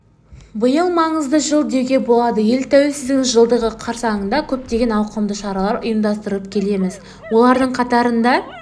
биыл маңызды жыл деуге болады ел тәуелсіздігінің жылдығы қарсаңында көптеген ауқымды шаралар ұйымдастырып келеміз олардың қатарында